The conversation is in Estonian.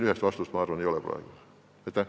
Ühest vastust, ma arvan, praegu ei ole.